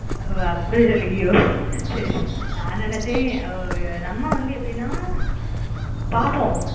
ஓஹ் அப்பிடி சொல்றியோ சரி நான் நெனச்சேன் அவ நம்ம வந்து எப்பிடின்னா பாப்போம்